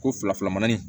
Ko fila fila manani